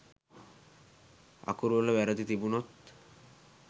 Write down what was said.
අකුරු වල වැරදි තිබුනොත්